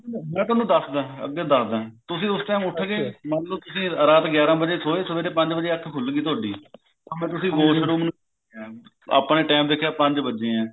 ਮੈਂ ਤੁਹਾਨੂੰ ਦਸਦਾ ਅੱਗੇ ਦਸਦਾ ਤੁਸੀਂ ਉਸ time ਉੱਠ ਗਏ ਮੰਨ ਲੋ ਤੁਸੀਂ ਰਾਤ ਗਿਆਰਾ ਵਜੇ ਸੋਏ ਸਵੇਰੇ ਪੰਜ ਵਜੇ ਅੱਖ ਖੁੱਲਗਈ ਤੁਹਾਡੀ or ਤੁਸੀਂ washroom ਆਪਾਂ ਨੇ time ਦੇਖਿਆ ਪੰਜ ਵੱਜੇ ਐ